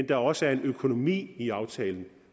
der også er en økonomi i aftalen